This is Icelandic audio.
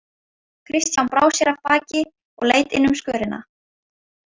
Christian brá sér af baki og leit inn um skörina.